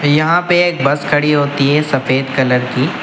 यहां पे एक बस खड़ी होती है सफेद कलर की।